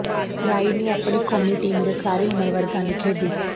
ਰਈ ਨੇ ਆਪਣੀ ਕੌਮੀ ਟੀਮ ਦੇ ਸਾਰੇ ਉਮਰ ਵਰਗਾਂ ਲਈ ਖੇਡੀ